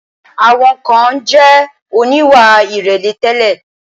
Àwọn kan jẹ̀ oníwà ìrẹ̀lẹ̀ tẹ́lẹ̀.